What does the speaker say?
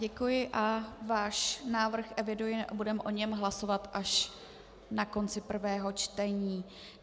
Děkuji a váš návrh eviduji a budeme o něm hlasovat až na konci prvého čtení.